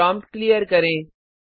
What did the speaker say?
prompt clear करें